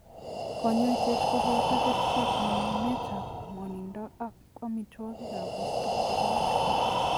Kanyaishet ko boto kerchek ,nyunyumet ab mwanindo ak amitwakik ab borto che beek.